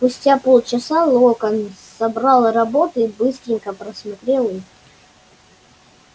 спустя полчаса локонс собрал работы и быстренько просмотрел их